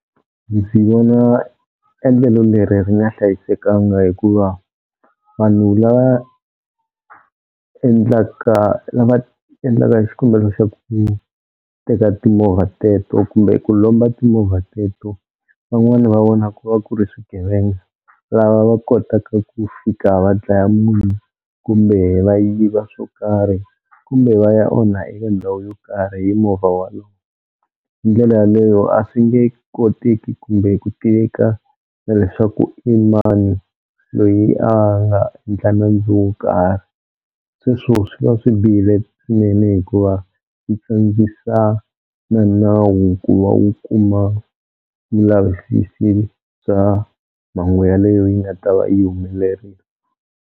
Ndzi swi vona endlelo leri ri nga hlayisekanga hikuva vanhu lava endlaka lava endlaka hi xikombelo xa ku teka timovha teto kumbe ku lomba timovha teto van'wani va vona ku va ku ri swigevenga, lava va kotaka ku fika va dlaya munhu kumbe va yiva swo karhi kumbe va ya onha eka ndhawu yo karhi hi movha walowo. Hi ndlela yaleyo a swi nge koteki kumbe ku tiveka na leswaku i mani loyi a nga endla nandzu wo karhi, sweswo swi va swi bihile swinene hikuva yi tsandzisa na nawu ku va wu kuma vulavisisi bya mhangu yaleyo yi nga ta va yi humelerile.